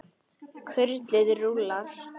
Kurlið rúllar.